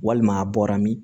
Walima a bɔra min